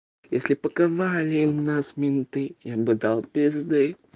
если бы показали нас менты я бы дал пизды